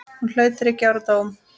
Hún hlaut þriggja ára dóm.